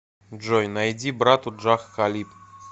джой найди брату джах халиб